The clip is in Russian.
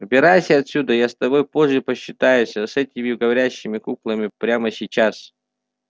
убирайся отсюда я с тобой позже посчитаюсь а с этими говорящими куклами прямо сейчас